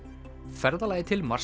ferðalagið til Mars